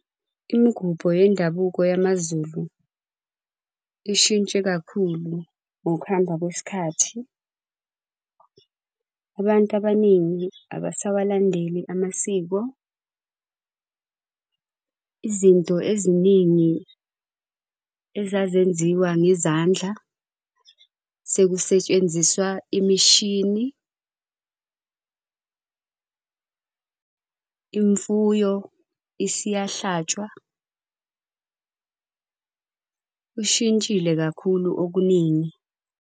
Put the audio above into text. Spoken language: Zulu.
Imigubo yendabuko yamaZulu ishintshe kakhulu ngokuhamba kwesikhathi. Abantu abaningi abasawalandeleli amasiko. Izinto eziningi ezazenziwa ngezandla sekusetshenziswa imishini. Imfuyo isiyahlatshwa. Kushintshile kakhulu okuningi.